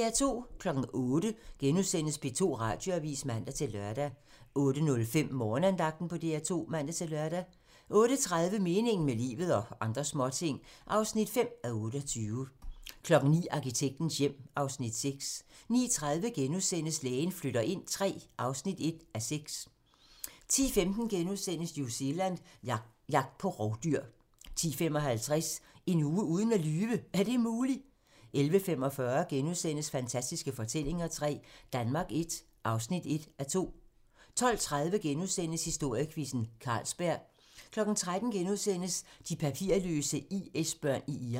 08:00: P2 Radioavis *(man-lør) 08:05: Morgenandagten på DR2 (man-lør) 08:30: Meningen med livet - og andre småting (5:28) 09:00: Arkitektens hjem (Afs. 6) 09:30: Lægen flytter ind III (1:6)* 10:15: New Zealand - jagt på rovdyr * 10:55: En uge uden at lyve - er det muligt? 11:45: Fantastiske forvandlinger III - Danmark I (1:2)* 12:30: Historiequizzen: Carlsberg * 13:00: De papirløse IS-børn i Irak *